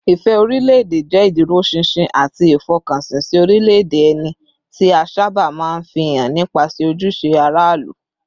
Ìfẹ́ orílẹ̀-èdè jẹ́ ìdúróṣinṣin àti ìfọkànsìn sí orílẹ̀-èdè ẹni, tí a sábà máa ń fi hàn nípasẹ̀ ojúṣe aráàlú